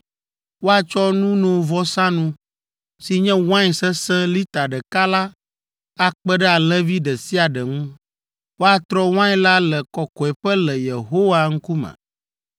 Woatsɔ nunovɔsanu, si nye wain sesẽ lita ɖeka la akpe ɖe alẽvi ɖe sia ɖe ŋu. Woatrɔ wain la le kɔkɔeƒe le Yehowa ŋkume.